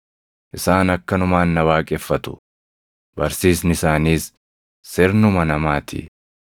Isaan akkanumaan na waaqeffatu; barsiisni isaaniis sirnuma namaa ti.’ + 15:9 \+xt Isa 29:13\+xt* ”